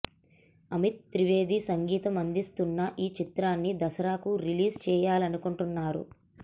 అమిత్ త్రివేది సంగీతం అందిస్తున్న ఈ చిత్రాన్ని దసరాకు రిలీజ్ చేయాలనుకుంటున్నారు